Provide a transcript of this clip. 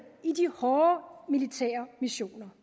i de hårde militære missioner